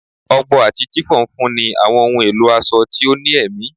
Ọgbọ ati chiffon nfunni awọn ohun elo aṣọ ti o ni ẹmi